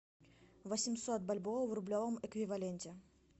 восемьсот бальбоа в рублевом эквиваленте